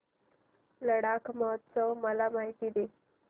लडाख महोत्सवाची मला माहिती दे